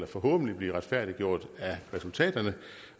forhåbentlig blive retfærdiggjort af resultaterne